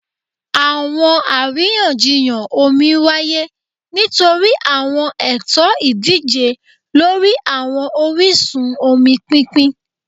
Awọn ariyanjiyan omi waye nitori awọn ẹtọ idije lori awọn orisun omi pinpin